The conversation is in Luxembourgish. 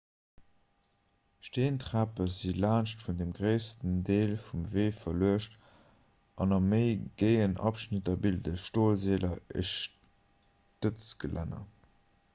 steentrape si laanscht dem gréissten deel vum wee verluecht an a méi géien abschnitter bilde stolseeler e stëtzgelänner